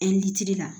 la